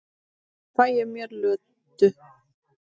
Nú fæ ég mér Lödu.